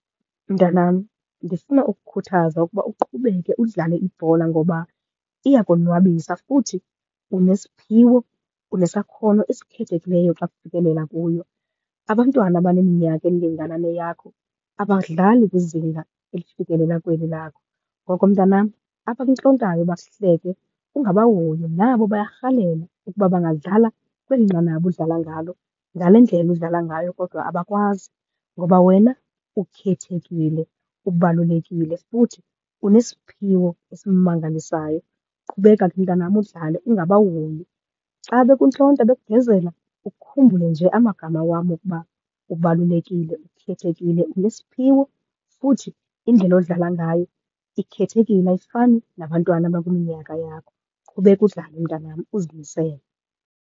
Mntanam ndifuna ukukhuthaza ukuba uqhubeke udlale ibhola ngoba iyakonwabisa futhi unesiphiwo, unesakhono esikhethekileyo xa kufikelela kuyo. Abantwana abaneminyaka elingana neyakho abadlali kwizinga elifikelela kweli lakho. Ngoko mntanam abakuntlontayo bakuhleke ungabahoyi, nabo bayarhalela ukuba bangadlala kweli nqanaba udlala ngalo, ngale ndlela udlala ngayo, kodwa abakwazi ngoba wena ukhethekile, ubalulekile, futhi unesiphiwo esimangalisayo. Qhubeka ke mntanam udlale ungabahoyi. Xa bekuntlonta bekugezela ukhumbule nje amagama wam wokuba ubalulekile, ukhethekile, unesiphiwo, futhi indlela odlala ngayo ikhethekile, ayifani nabantwana abakwiminyaka yakho. Qhubeka udlale mntanam, uzimisele.